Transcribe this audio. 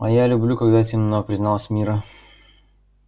а я люблю когда темно призналась мирра